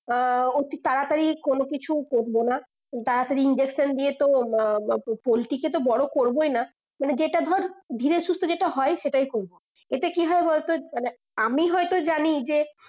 আহ অতি তাড়াতাড়ি কোনো কিছু করবো না তাড়াতাড়ি injection দিয়ে তো মা ম পোল্ট্রি কে বড়ো করবই না মানে যেটা ধর ধীরে সুস্থে যেটা হয় সেটাই করবো এতে কি হবে বলতো মানে আমি হয় তো জানি যে